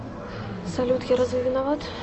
салют я разве виноват